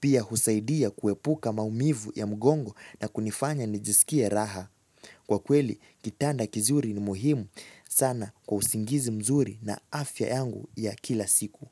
Pia husaidia kuepuka maumivu ya mgongo na kunifanya nijiskie raha. Kwa kweli, kitanda kizuri ni muhimu sana kwa usingizi mzuri na afya yangu ya kila siku.